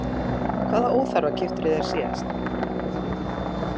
Hvaða óþarfa keyptirðu þér síðast?